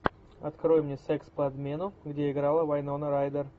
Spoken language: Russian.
открой мне секс по обмену где играла вайнона райдер